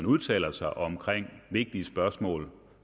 udtaler sig om vigtige spørgsmål